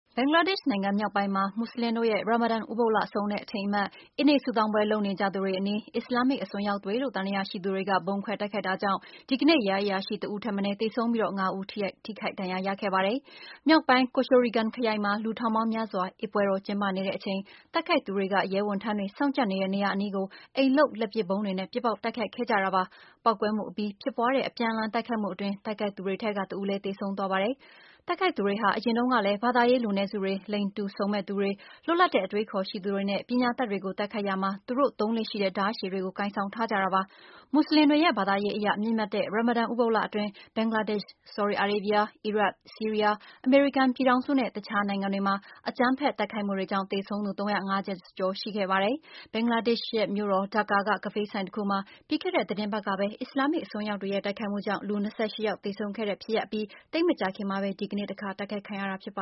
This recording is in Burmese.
ဘင်္ဂလားဒေ့ရှ်နိုင်ငံ မြောက်ပိုင်းမှာ မူဆလင်တို့ရဲ့ ရာမာဒန် ဥပုသ်လကုန်ဆုံးတဲ့ အထိမ်းအမှတ် - အစ်နေ့ ဆုတောင်းပွဲ လုပ်နေကြသူတွေအနီး အစ္စလာမ်မစ် အစွန်းရောက်တွေလို့ သံသယရှိသူတွေက ဗုံးခွဲ တိုက်ခိုက်တာကြောင့် ဒီကနေ့ ရဲအရာရှိတဦးထက်မနည်း သေဆုံးပြီး ငါးဦး ထိခိုက် ဒဏ်ရာ ရခဲ့ပါတယ်။ မြောက်ပိုင်း Kishoreganj ခရိုင်မှာ လူထောင်ပေါင်းများစွာ အစ်ပွဲတော် ကျင်းပနေတဲ့အချိန် တိုက်ခိုက်သူတွေက ရဲဝန်ထမ်းတွေ စောင့်ကြပ်နေတဲ့နေရာ အနီးကို အိမ်လုပ် လက်ပစ်ဗုံးတွေနဲ့ ပစ်ပေါက်တိုက်ခိုက်ခဲ့ကြတာပါ။ ပေါက်ကွဲမှုအပြီး ဖြစ်ပွားတဲ့ အပြန်အလှန် တိုက်ခိုက်မှုအတွင်း တိုက်ခိုက်သူတွေထဲက တဦးလည်း သေဆုံးသွားပါတယ်။ တိုက်ခိုက်သူတွေဟာ အရင်တုန်းကလည်း ဘာသာရေး လူနည်းစုတွေ၊ လိင်တူစုံမက်သူတွေ၊ လွတ်လပ်တဲ့ အတွေးအခေါ်ရှိသူတွေနဲ့ ပညာတတ်တွေကို တိုက်ခိုက်ရာမှာ သူတို့ သုံးလေ့ရှိတဲ့ ဓားရှည်တွေကို ကိုင်ဆောင်ထားကြတာပါ။ မူဆလင်တွေရဲ့ ဘာသာရေးအရ မြင့်မြတ်တဲ့ ရာမာဒန် ဥပုသ်လအတွင်း ဘင်္ဂလားဒေ့ရှ်၊ ဆော်ဒီအာရေးဗီးယား၊ အီရတ်၊ ဆီးရီးယား၊ အမေရိကန်ပြည်ထောင်စု နဲ့ တခြား နိုင်ငံတွေမှာ အကြမ်းဖက် တိုက်ခိုက်မှုတွေကြောင့် သေဆုံးသူ ၃၅၀ ကျော် ရှိခဲ့ပါတယ်။ ဘင်္ဂလားဒေ့ရှ်မြို့တော် ဒါကာက ကဖေးဆိုင်တခုမှာ ပြီးခဲ့တဲ့သီတင်းပတ်ကပဲ အစ္စလာမ်မစ်အစွန်းရောက်တွေရဲ့ တိုက်ခိုက်မှုကြောင့် လူ ၂၈ ယောက် သေဆုံးခဲ့ရတဲ့ဖြစ်ရပ်အပြီး သိပ်မကြာခင်မှာပဲ ဒီကနေ့ တခါ တိုက်ခိုက်ခံရတာပ